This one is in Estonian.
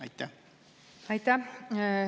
Aitäh!